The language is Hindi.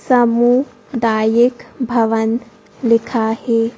सामुदायिक भवन लिखा है।